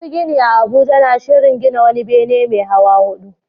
Masu gini a Abuja na shirin gina wani bene mai hawa hudu